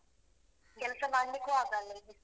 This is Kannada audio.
ಹೌದು. ಕೆಲ್ಸ ಮಾಡ್ಲಿಕ್ಕೂ ಆಗಲ್ಲ ಈ ಬಿಸ್ಲಿಗೆ.